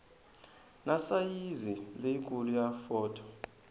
na sayizi leyikulu ya fonto